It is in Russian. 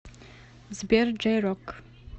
сбер джей рок